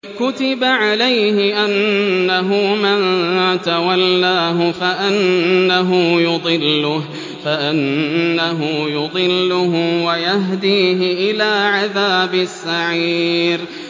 كُتِبَ عَلَيْهِ أَنَّهُ مَن تَوَلَّاهُ فَأَنَّهُ يُضِلُّهُ وَيَهْدِيهِ إِلَىٰ عَذَابِ السَّعِيرِ